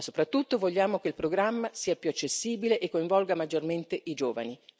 Ma soprattutto vogliamo che il programma sia più accessibile e coinvolga maggiormente i giovani.